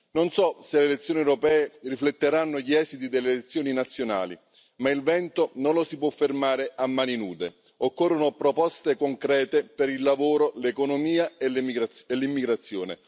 Non so se le elezioni europee rifletteranno gli esiti delle elezioni nazionali, ma il vento non lo si può fermare a mani nude, occorrono proposte concrete per il lavoro, l'economia e l'immigrazione.